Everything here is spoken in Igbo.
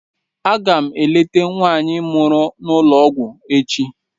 Aga m eleta nwaanyị mụrụ n'ụlọ ọgwụ echi